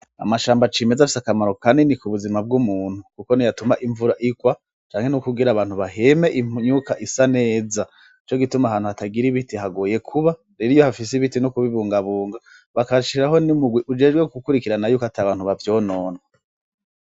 Amashamba cimeza afise akamaro kanini ku buzima bw’umuntu Kuko niyatuma imvura igwa canke no kugira abantu baheme imyuka isa neza, nico gituma ahantu hatagira ibiti haragoye kuba ,rero iyi hafise ibiti ni kubibungabunga bagashiraho n’umugwi ujejwe gukurikirana yuko ata bantu bavyonona.